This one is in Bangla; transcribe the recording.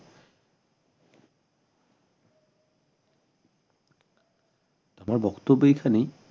আমার বক্তব্য এইখানেই